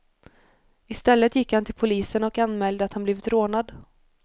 I stället gick han till polisen och anmälde att han blivit rånad.